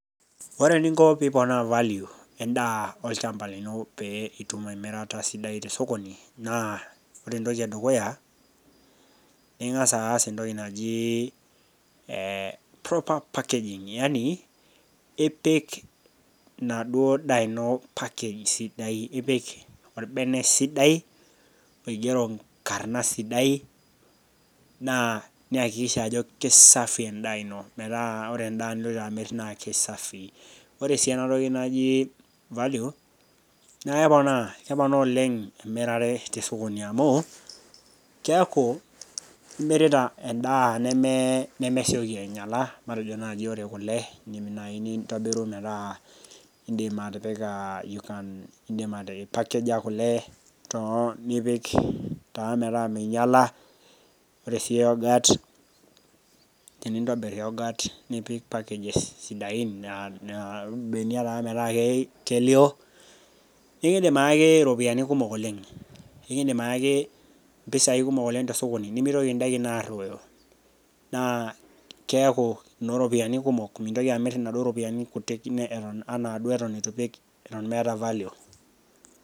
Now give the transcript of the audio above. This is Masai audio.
Ore eninko pee iponaa value endaa olchamba lino pee itum emirata sapuk ene dukuya, naa ing'as aas entoki naji proper packaging, yaani, ipik enaduo daa ino package sidai, ipik olbene sidai, oigero enkarna sidai, naa niakikisha ajo kesafi endaa ino metaa ore endaa niloito amir naa kessafi. Ore sii ena toki naji value, naa keponaa oleng' emirare te sokoni amuu, keaku imirita oltung'ani endaa nemesioki ainyala, eidim naaji nintobiru metaa indim atipika pakejo kule too nipik taa metaa meinyala. Ore sii yorghurt tenintobir yorghurt nipik packages sidain, naa imbenia taa metaa kelio, nekindim ake aaki iropiani kumok oleng', kindim aaki impisai kumok oleng' te sokoni nemeitoki indaikin aruoyo. Naa keaku inooropiani kumok, mintoki amir inaaduo ropiani kumok naa duo eitu ipik eton meata \ value.